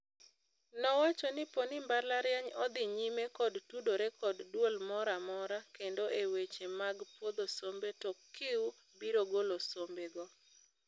Nowacho ni poni mbalariany odhi nyime kod tudore kod duol moramora kendo e weche mag puodho sombe to CUE biro golo sombe go.